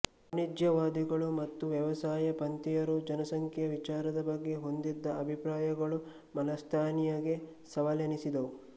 ವಾಣಿಜ್ಯವಾದಿಗಳು ಮತ್ತು ವ್ಯವಸಾಯ ಪಂಥೀಯರು ಜನಸಂಖ್ಯೆಯ ವಿಚಾರದ ಬಗ್ಗೆ ಹೊಂದಿದ್ದ ಅಭಿಪ್ರಾಯಗಳು ಮಾಲ್ಥಸ್ನಿಗೆ ಸವಾಲೆನಿಸಿದವು